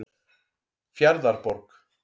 Fjarðarborg